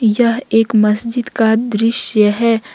यह एक मस्जिद का दृश्य है।